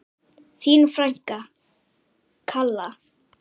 Þín frænka, Kalla.